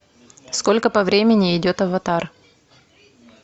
сколько по времени идет аватар